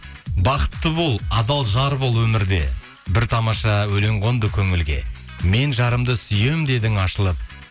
бақытты бол адал жар бол өмірде бір тамаша өлең қонды көңілге мен жарымды сүйемін дедің ашылып